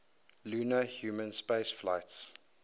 lunar human spaceflights